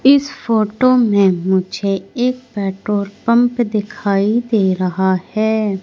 इस फोटो में मुझे एक पेट्रोल पंप दिखाई दे रहा हैं।